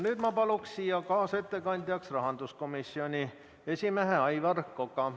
Nüüd ma palun siia kaasettekandjaks rahanduskomisjoni esimehe Aivar Koka.